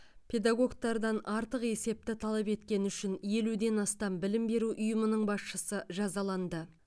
педагогтардан артық есепті талап еткені үшін елуден астам білім беру ұйымының басшысы жазаланды